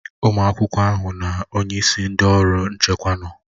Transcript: Ụmụ akwụkwọ ahụ na onyeisi ndị ọrụ nchekwa nọ.